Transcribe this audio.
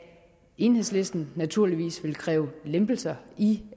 enhedslisten naturligvis vil kræve lempelser i